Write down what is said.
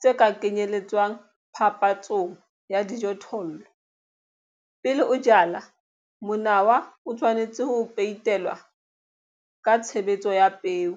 tse ka kenyeletswang phapantshong ya dijothollo. Pele o jala, monawa o tshwanetse ho peitelwa ka tshebetso ya peo.